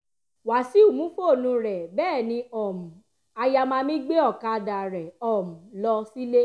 wàṣíù mú fóònù rẹ̀ bẹ́ẹ̀ ni um ayamami gbé ọ̀kadà rẹ̀ um lọ sílé